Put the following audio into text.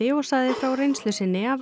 og sagði frá reynslu sinni af